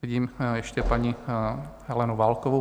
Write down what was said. Vidím ještě paní Helenu Válkovou.